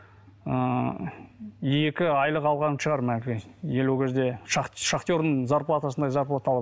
ыыы екі айлық алған шығар ел ол кезде шахты шахтердің зарплатасындай зарплата